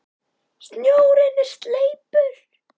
Snjórinn er sleipur!